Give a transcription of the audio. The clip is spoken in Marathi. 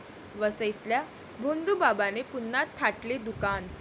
वसईतल्या भोंदूबाबाने पुन्हा थाटले दुकान